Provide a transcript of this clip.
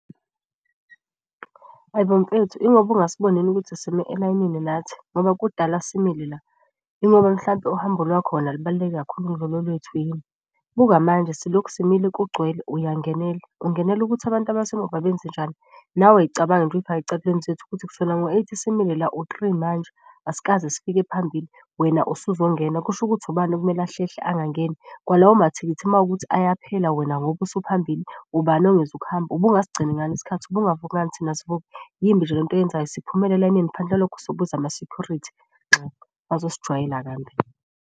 Hhayi bo, mfethu ingoba ungasiboni ukuthi sime elayinini nathi, ngoba kudala simile la. Ingoba mhlampe uhambo lwakho lona lubaluleke kakhulu ukudlula olwethu yini? Buka manje silokhu simile kugcwele, uyangenela. Ungenela ukuthi abantu abasemuva benze njani? Nawe y'cabanga nje, uy'fake ey'cathulweni zethu ukuthi kusukela ngo-eight simile la, u-three manje asikaze sifike phambili wena usuzongena. Kusho ukuthi ubani okumele ahlehle angangeni? Kwalawo mathikithi uma kuwukuthi ayaphela wena ngoba usuphambili, ubani ongezukuhamba? Ubungasigcini ngani isikhathi? Ubungavuki ngani thina sivuka? Yimbi nje lento oyenzayo, siphumele elayinini ngaphandle kwalokho sobiza amasekhurithi. Nxa, ungazosijwayela kambi.